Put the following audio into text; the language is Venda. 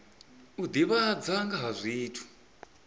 u divhadza nga ha zwithu